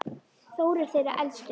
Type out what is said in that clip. Þór er þeirra elstur.